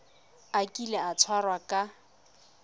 a kile a tshwarwa ka